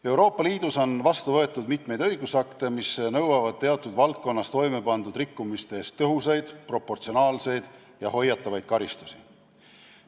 Euroopa Liidus on vastu võetud mitmeid õigusakte, mis nõuavad teatud valdkonnas toimepandud rikkumiste eest tõhusaid, proportsionaalseid ja hoiatavaid karistusi.